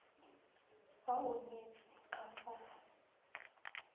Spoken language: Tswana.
fa o nyetswe ka fa